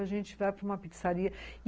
A gente vai para uma pizzaria.